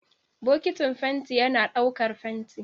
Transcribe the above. Bokitin fenti yana ɗaukar fenti.